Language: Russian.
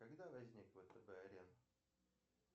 когда возник втб арена